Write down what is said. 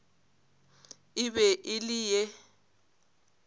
e be e le ye